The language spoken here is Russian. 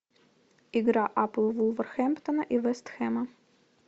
игра апл вулверхэмптона и вест хэма